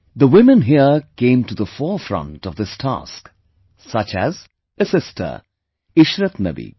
The women here came to the forefront of this task, such as a sister Ishrat Nabi